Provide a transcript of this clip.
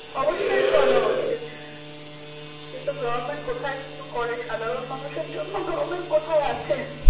অবশ্যই করা উচিত কিন্তু government কোথায় কিছু করে সাধারণ মানুষের জন্য government কোথায় আছে